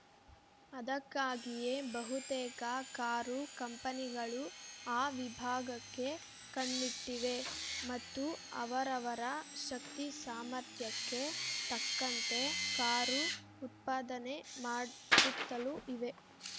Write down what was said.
ಅದಕ್ಕಾಗಿಯೇ ಬಹುತೇಕ ಕಾರು ಕಂಪನಿಗಳು ಆ ವಿಭಾಗಕ್ಕೆ ಕಣ್ಣಿಟ್ಟಿವೆ ಮತ್ತು ಅವರವರ ಶಕ್ತಿ ಸಾಮರ್ಥ್ಯಕ್ಕೆ ತಕ್ಕಂತೆ ಕಾರು ಉತ್ಪಾದನೆ ಮಾಡುತ್ತಲೂ ಇವೆ